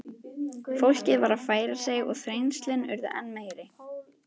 Fólkið varð að færa sig og þrengslin urðu enn meiri.